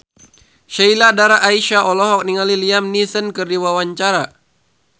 Sheila Dara Aisha olohok ningali Liam Neeson keur diwawancara